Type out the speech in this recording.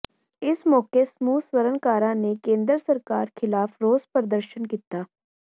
ਇਸ ਮੌਕੇ ਸਮੂਹ ਸਵਰਨਕਾਰਾਂ ਨੇ ਕੇਂਦਰ ਸਰਕਾਰ ਖ਼ਿਲਾਫ਼ ਰੋਸ ਪ੍ਰਦਰਸ਼ਨ ਕੀਤਾ